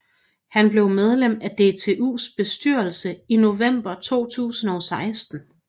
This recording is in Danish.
Han blev medlem af DTUs bestyrelse i november 2016